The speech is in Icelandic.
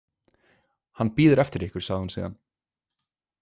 Hann bíður eftir ykkur, sagði hún síðan.